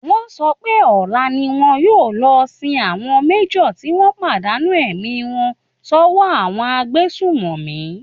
Wọ́n sọ pé ọla ni wọn yóò lọ sin àwọn major tí wọ́n pàdánù ẹ̀mí wọn sọ́wọ́ àwọn agbésùnmọ̀mí